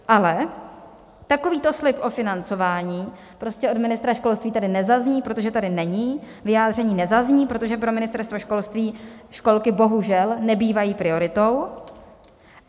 Ale takovýto slib o financování prostě od ministra školství tady nezazní, protože tady není, vyjádření nezazní, protože pro Ministerstvo školství školky bohužel nebývají prioritou.